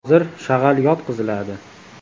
Hozir shag‘al yotqiziladi.